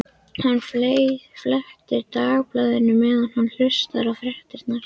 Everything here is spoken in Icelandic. Hann fletti Dagblaðinu meðan hann hlustaði á fréttirnar.